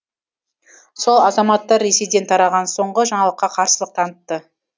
сол азаматтар ресейден тараған соңғы жаңалыққа қарсылық танытты